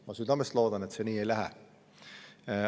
Ma südamest loodan, et see nii ei lähe.